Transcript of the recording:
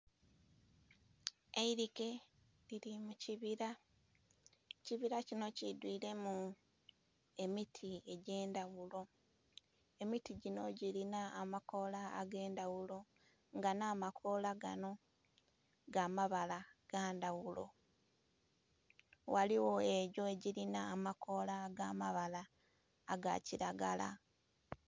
Eirike liri mukibira, ekibira kinho kidhwiremu emiti egyendhaghulo, emiti ginho girinha amakola agendhaghulo nga nh'akola ganho gamabala gandhaghulo. Ghaligho egyo egiri nh'amakola agamabala agakiragala.